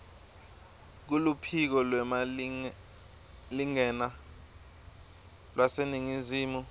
kuluphiko lwemalingena lwaseningizimu